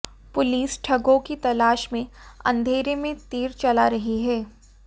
police ठगों की तलाश में अंधेरे में तीर चला रही है